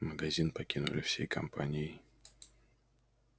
магазин покинули всей компанией